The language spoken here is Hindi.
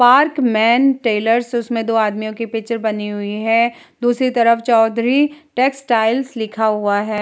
पार्कमैन टेलर्स उसमें दो आदमियों की पिक्चर बनी हुई है दूसरी तरफ चौधरी टेक्सटाइल्स लिखा हुआ है।